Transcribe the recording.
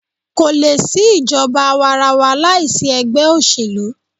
Kò lè sí ìjọba àwàrawa láìsí egbẹ́ òṣèlú.